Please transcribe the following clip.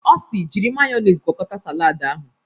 Ọ si "jiri mayọnis gwọkọta salad ahụ"